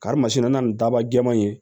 Karimasina nana ni daba jɛman ye